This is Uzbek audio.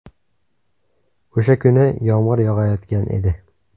O‘sha kuni yomg‘ir yog‘ayotgan edi.